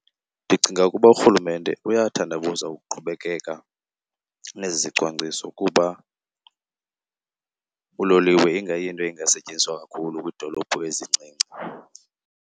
Ndicinga ukuba uRhulumente uyathandabuza ukuqhubekeka nezi zicwangciso kuba uloliwe ingayinto ingasetyenziswa kakhulu kwiidolophu ezincinci.